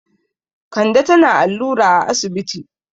Kande tana allura a asibiti.